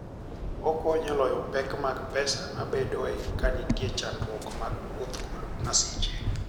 Okonyo e loyo pek mag pesa mabedoe ka nitie chandruok mag wuoth kod masiche.